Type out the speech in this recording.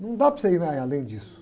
Não dá para você ir mais além disso.